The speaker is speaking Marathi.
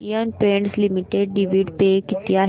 Asian Paints Limited dividend pay किती आहे